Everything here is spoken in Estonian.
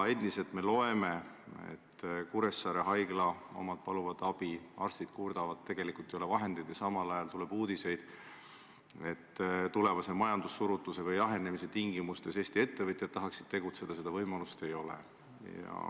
Endiselt me loeme sellest, et Kuressaare haigla palub abi, arstid kurdavad, et ei ole vahendeid, aga samal ajal tuleb uudiseid, et tulevase majandussurutise või -jahenemise tingimustes Eesti ettevõtjad tahaksid tegutseda, kuid seda võimalust ei ole.